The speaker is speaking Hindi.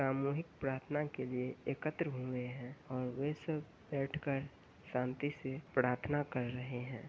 सामूहिक प्रार्थना के लिए एकत्र हुए हैं और वे सब बैठकर शांति से प्रार्थना कर रहें हैं।